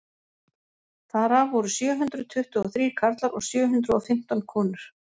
þar af voru sjö hundruð tuttugu og þrír karlar og sjö hundruð og fimmtán konur